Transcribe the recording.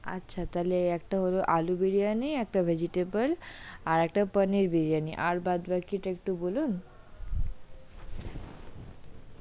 আচ্ছা তাহলে একটা হলো আলু বিরিয়ানি একটা vegetable আর একটা পনির বিরিয়ানি আর বাদ বাকি তা একটু বলুন?